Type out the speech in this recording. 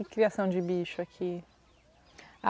E criação de bicho aqui?